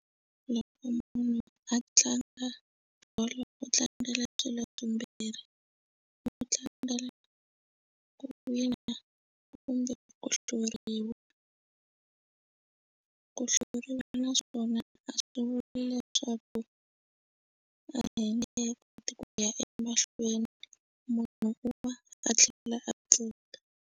Loko munhu a tlanga bolo u tlangela swilo swimbirhi u tlangela ku wina kumbe ku hluriwa ku hluriwa naswona a swi vuli leswaku a hi nge koti ku ya emahlweni munhu u va a tlhela a cina.